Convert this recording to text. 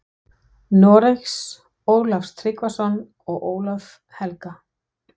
Noregs, Ólaf Tryggvason og Ólaf helga.